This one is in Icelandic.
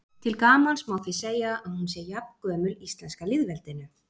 til gamans má því segja að hún sé jafngömul íslenska lýðveldinu